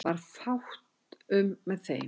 Varð fátt um með þeim